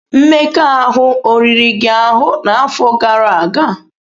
Mmekọahụ o riri gị ahụ n'afọ gara aga?